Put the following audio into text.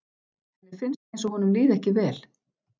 Henni finnst einsog honum líði ekki vel.